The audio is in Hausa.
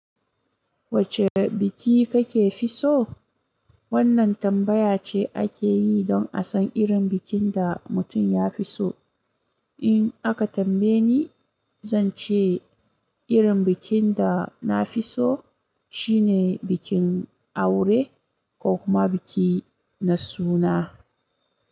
Wacce biki kake fi so? Wannan tambaya ce ake yi don a san irin bikin da mutum ya fi so. In aka tambaye ni, zan ce irin bikin da na fi so shine bikin aure ko kuma biki na suna.